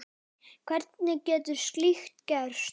Hvernig getur slíkt gerst?